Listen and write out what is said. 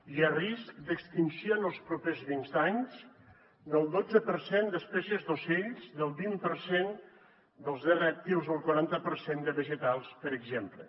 hi ha risc d’extinció en els propers vint anys del dotze per cent d’espècies d’ocells del vint per cent dels rèptils o el quaranta per cent de vegetals per exemple